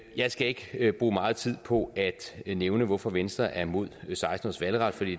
jeg skal ikke bruge meget tid på at nævne hvorfor venstre er imod seksten års valgret for det